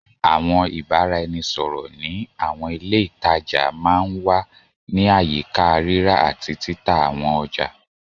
Àwọn ìbáraẹnisọ̀rọ̀ ní àwọn ilé ìtajà máa ń wà ní àyíká rírà àti títà àwọn ọjà.